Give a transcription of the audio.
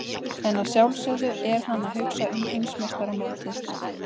En að sjálfsögðu er hann að hugsa um heimsmeistaramótið.